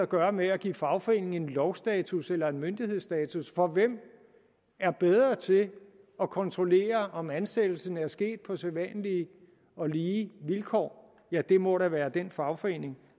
gøre med at give fagforeningen en lovstatus eller en myndighedsstatus for hvem er bedre til at kontrollere om ansættelsen er sket på sædvanlige og lige vilkår ja det må da være den fagforening